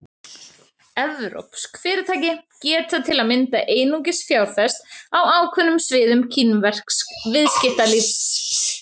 Evrópsk fyrirtæki geta til að mynda einungis fjárfest á ákveðnum sviðum kínversks viðskiptalífs.